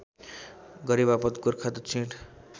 गरेबापत गोरखा दक्षिण